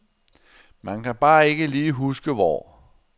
Man kan bare ikke lige huske hvor.